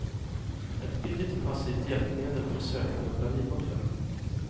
Ett billigt och passivt hjälpmedel för sökning av lavinoffer.